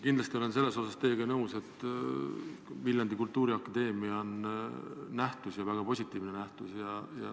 Kindlasti ma olen teiega nõus, et Viljandi Kultuuriakadeemia on omaette nähtus, ja väga positiivne nähtus.